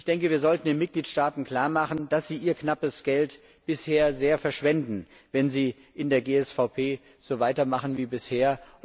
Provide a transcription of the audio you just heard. Ich denke, wir sollten den Mitgliedstaaten klarmachen, dass sie ihr knappes Geld bisher sehr verschwenden, wenn sie in der GSVP so weitermachen wie bisher.